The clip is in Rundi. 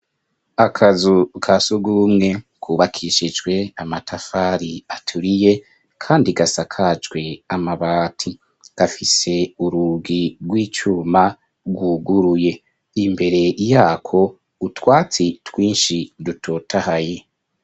Akazu ka sugumwe kubakishijwe amatafari aturiye kandi gasakajwe amabati. Gafise urugi rw'icuma rwuguruye. Imbere yako utwatsi twinshi dutotahaye.